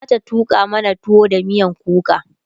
kaka zata tuƙa mana tuwo da miyan kuka